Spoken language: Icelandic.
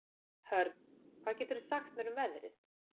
Hörn, hvað geturðu sagt mér um veðrið?